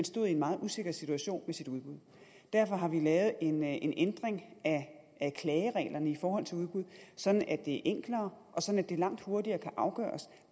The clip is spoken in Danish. stod i en meget usikker situation med sit udbud derfor har vi lavet en ændring af klagereglerne i forhold til udbud sådan at det er enklere og sådan at det langt hurtigere kan afgøres